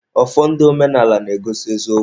Ọfọ ndị omenaala na-egosi eziokwu.